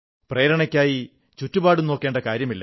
പ്രേരണയ്ക്കായി ചുറ്റുപാടും നോക്കേണ്ട കാര്യമില്ല